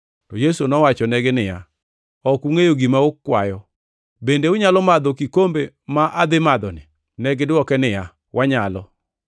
To Yesu nowachonegi niya, “Ok ungʼeyo gima ukwayo. Bende unyalo madho kikombe ma adhi madhoni?” Negidwoke niya, “Wanyalo.”